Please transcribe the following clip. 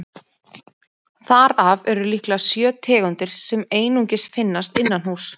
Þar af eru líklega sjö tegundir sem einungis finnast innanhúss.